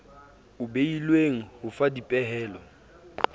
o beilweng ho fa dipehelo